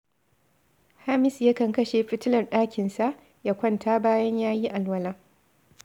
Hamisu yakan kashe fitilar ɗakinsa, ya kwanta bayan ya yi alwala